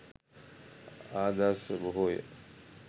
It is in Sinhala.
ආදර්ශ බොහෝ ය.